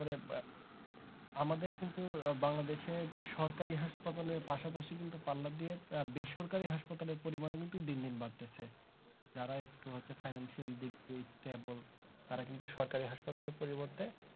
আমাদের কিন্তু বাংলাদেশে সরকারি হাসপাতাল এর পাশাপাশি কিন্তু পাল্লা দিয়ে বেসরকারি হাসপাতালের পরিমান ও কিন্তু দিন দিন বাড়তেছে যারা একটু হচ্ছে financial দিক দি stable তারা কিন্তু সরকারি হাসপাতালে পরিবর্তে